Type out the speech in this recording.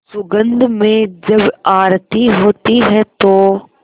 सुगंध में जब आरती होती है तो